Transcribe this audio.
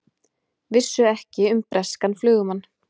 Vissu ekki um breskan flugumann